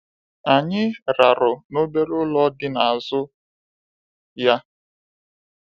Anyị rarụ n'obere ụlọ dị n'azụ ya.